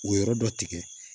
O yɔrɔ dɔ tigɛ